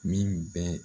Min bɛ